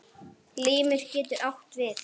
Limur getur átt við